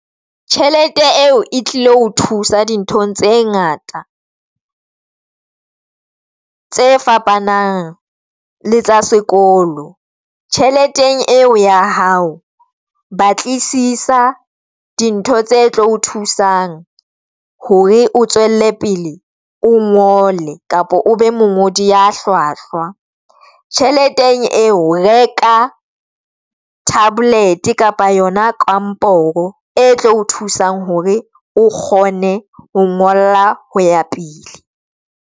Tjhelete eo e tlilo thusa dinthong tse ngata, tse fapanang le tsa sekolo tjheleteng eo ya hao batlisisa dintho tse tlo o thusang hore o tswelle pele o ngole kapa o be mongodi ya hlwahlwa. Tjhelete eo reka tablet kapa yona kamporo e tlo o thusang hore o kgone ho ngola ho ya pele.